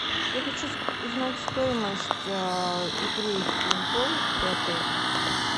я хочу узнать стоимость игры в пейнтбол при отеле